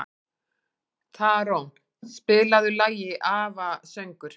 Tarón, spilaðu lagið „Afasöngur“.